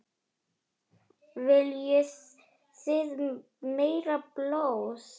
Viljið þið meira blóð?